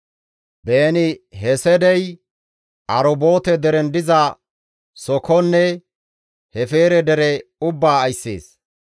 Beeni-Heseedi Arubboote deren diza Sookonne Hefeere dere ubbaa ayssees.